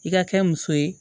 I ka kɛ muso ye